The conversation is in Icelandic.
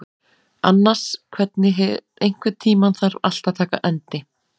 Annas, einhvern tímann þarf allt að taka enda.